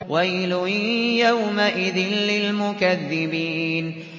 وَيْلٌ يَوْمَئِذٍ لِّلْمُكَذِّبِينَ